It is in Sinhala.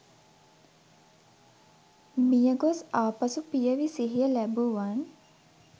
මියගොස් ආපසු පියවි සිහිය ලැබූවන්